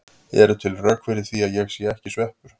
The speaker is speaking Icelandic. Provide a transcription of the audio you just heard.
Eru til rök fyrir því að ég sé ekki sveppur?